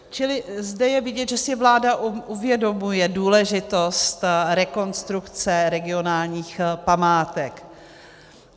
Čili zde je vidět, že si vláda uvědomuje důležitost rekonstrukce regionálních památek.